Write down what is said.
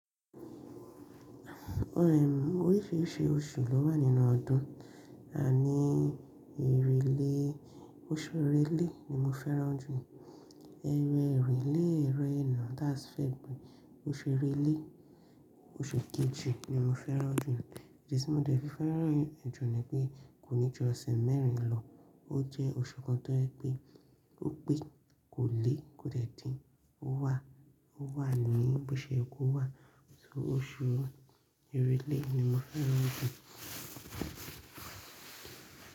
Oríṣìíríṣìí oṣù ló wà nínú ọdún àní erelé, oṣù erelé ni mo fẹ́ràn jù. Ẹ̀rẹ́ èrèlé, ẹ̀rẹ̀na that's February, oṣù èrèlé, oṣù kejì ni mo fẹ́ràn jù. Ìdí tí mo dẹ̀ fi fẹ́ràn ràn jù ni pé kò ní ju ọ̀sẹ̀ mẹ́rin lọ, ó jẹ́ oṣù kan tó jẹ́ pè, ó pé kò lé kò dẹ̀ dín, ó wà, ó wà ní bóseyẹ kó wà. Oṣù èrèlé ni mo fẹ́ràn jù.